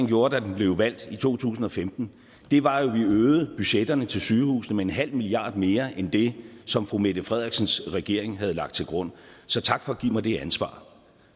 gjorde da den blev valgt i to tusind og femten var at vi øgede budgetterne til sygehusene med en halv milliard mere end det som fru mette frederiksens regering havde lagt til grund så tak for at give mig det ansvar